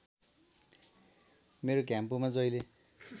मेरो घ्याम्पोमा जहिले